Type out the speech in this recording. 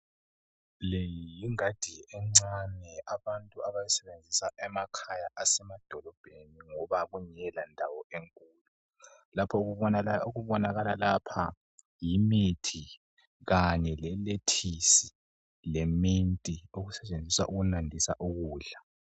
Le yingadi encane abantu abayisebenzisa emakhaya asemadolobheni ngoba kungela ndawo enkulu lapha okubonakala lapha yimithi kanye le lethisi leminti okusetshenziswa ukunandisa ukudla